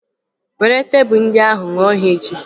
Were tebụl ndị ahụ ṅụọ ha echi!